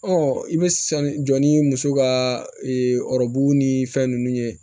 i bɛ sanu jɔ ni muso ka ee ni fɛn ninnu ye